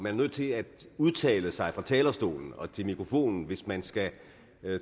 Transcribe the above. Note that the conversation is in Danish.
er nødt til at udtale sig fra talerstolen og til mikrofonen hvis man skal